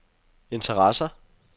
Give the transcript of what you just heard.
interesser